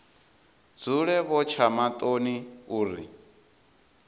dzule vho tsha maṱoni uri